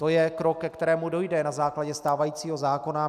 To je krok, ke kterému dojde na základě stávajícího zákona.